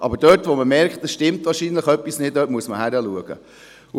Aber, dort wo man merkt, dass wahrscheinlich etwas nicht stimmt, muss man hinschauen.